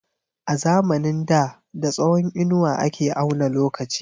A zamanin da da tsawon inuwa ake auna lokaci.